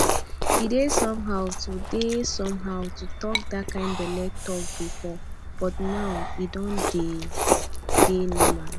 e dey somehow to dey somehow to talk that kind belle talk before but now e don dey normal